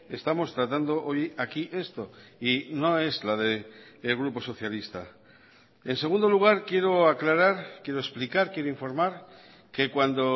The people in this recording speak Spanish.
estamos tratando hoy aquí esto y no es la del grupo socialista en segundo lugar quiero aclarar quiero explicar quiero informar que cuando